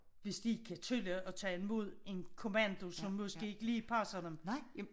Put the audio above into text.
Hvis de ikke kan tåle at tage imod en kommando som måske ikke lige passer dem